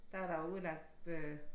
Der er der udlagt øh